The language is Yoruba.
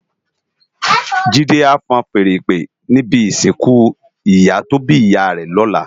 Jide á fúùn fèèrè ìpè ni ibi isinkù iyá tó bi iyá rè lòlá